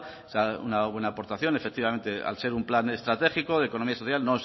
será una buena aportación efectivamente al ser un plan estratégico de economía social